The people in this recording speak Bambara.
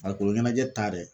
Farikolo ɲɛnajɛ ta dɛ